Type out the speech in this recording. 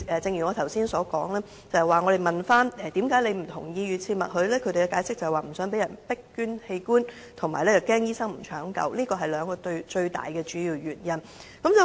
者，正如我剛才所說，當我們詢問受訪者為何不同意預設默許機制時，他們解釋是不想被迫捐贈器官，以及擔心醫生不進行搶救，這是兩大主要原因。